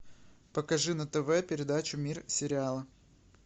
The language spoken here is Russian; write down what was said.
покажи на тв передачу мир сериала